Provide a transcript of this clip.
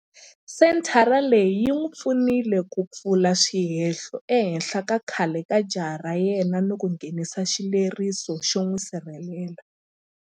Senthara leyi yi n'wi pfunile ku pfula swihehlo ehenhla ka khale ka jaha ra yena ni ku nghenisa xileriso xo n'wi sirhelela.